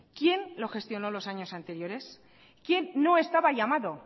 quién lo gestionó los años anteriores quién no estaba llamado